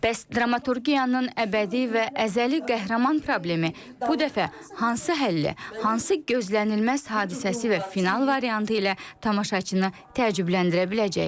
Bəs dramaturgiyanın əbədi və əzəli qəhrəman problemi bu dəfə hansı həlli, hansı gözlənilməz hadisəsi və final variantı ilə tamaşaçını təəccübləndirə biləcək?